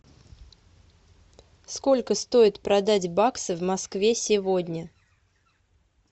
сколько стоит продать баксы в москве сегодня